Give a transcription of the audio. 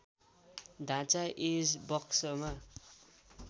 ढाँचा एज बक्समा